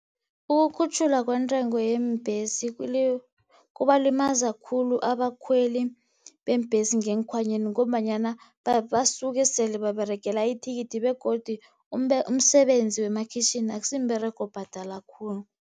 Ukukhutjhulwa kwentengo yeembhesi kubalimaza khulu abakhweli beembhesi ngeenkhwanyeni, ngombanyana basuke sele baberegela ithikithi, begodu umsebenzi wemakhitjhini akusimberego obhadala khulu.